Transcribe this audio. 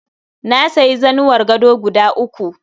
Na sayi zanuwar gado guda uku